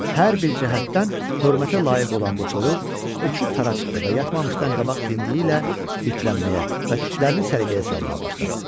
Hər bir cəhətdən hörmətə layiq olan bu toyuq uçub tara çıxdı və yatmamışdan qabaq dimdiyi ilə bitlənməyə və tüklərini səliqəyə salmağa başladı.